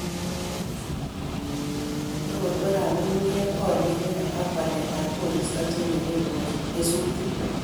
korotwekab nyung'unyek, olyet neya ak waletab koristo chenyeren kesutik